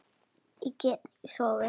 Ég get ekki sofið.